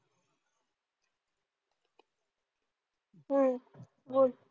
हम्म बोल.